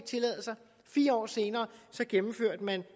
tillade sig fire år senere gennemførte man